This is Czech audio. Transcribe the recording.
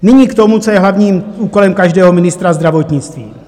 Nyní k tomu, co je hlavním úkolem každého ministra zdravotnictví.